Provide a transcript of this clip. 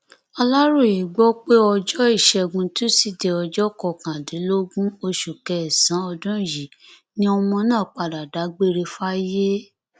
aláròye gbọ pé ọjọ ìṣẹgun tusidee ọjọ kọkàndínlógún oṣù kẹsànán ọdún yìí ni ọmọ náà padà dágbére fáyé